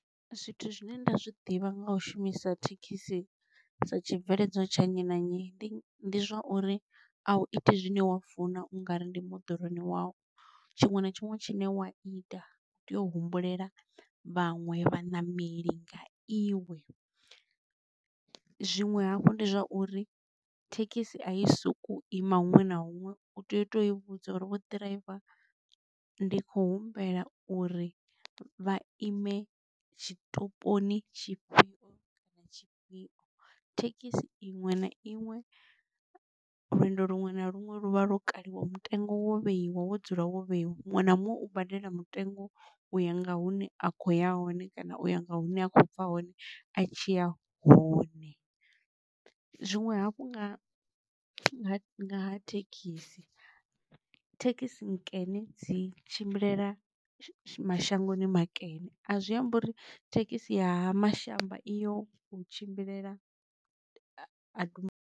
Zwithu zwine nda zwi ḓivha nga u shumisa thekhisi sa tshibveledzwa tsha nnyi na nnyi ndi zwa uri a iti zwine wa funa u nga ndi moḓoroni wau, tshiṅwe na tshiṅwe tshine wa ita u tea u humbulela vhaṅwe vhaṋameli nga iwe, zwinwe hafhu ndi zwa uri thekhisi a i sokou ima huṅwe na huṅwe u tea u to i vhudza uri vho ḓiraiva ndi kho humbela uri vha ime tshitoponi tshifhio. Thekhisi iṅwe na iṅwe lwendo luṅwe na luṅwe luvha lwo kaliwa mutengo wo vheiwa wo dzula wo vheiwa. Muṅwe na muṅwe u badela mutengo uya nga hune a khouya hone kana uya nga hune a khou bva hone a tshiya hone, zwinwe hafhu nga nga ngaha thekhisi thekhisi nkene dzi tshimbilelana mashangoni makene a zwiamba uri thekhisi ya Ha-Mashamba iyo u tshimbilelana a du .